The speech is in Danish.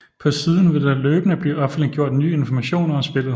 På siden vil der løbende blive offentligjort nye informationer om spillet